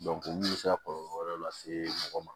mun bɛ se ka kɔlɔlɔ wɛrɛ lase mɔgɔ ma